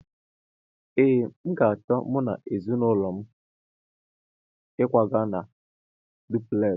Ee, m ga-acho mu na ezinulo m ịkwaga a dupulesi